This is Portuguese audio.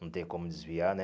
Não tem como desviar, né?